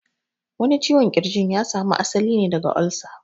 Wani ciwon ƙirjin ya samu asali ne daga cutar olsa